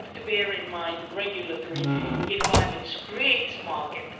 We have to bear in mind that regulatory environments create markets.